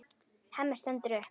Hemmi stendur upp.